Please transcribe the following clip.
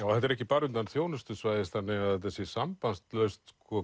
þetta er ekki bara utan þjónustusvæðis þannig að þetta sé sambandslaust